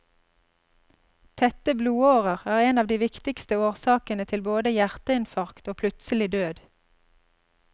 Tette blodårer er en av de viktigste årsakene til både hjerteinfarkt og plutselig død.